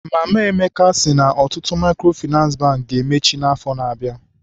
Mama Emeka sị na ọtụtụ Maịkrofịnansị Bankị ga-emechi n'afọ na-abịa.